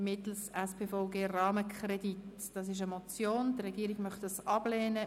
Der Regierungsrat möchte diese Motion ablehnen.